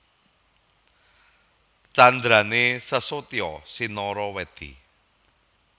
Candrané Sesotya sinarawèdi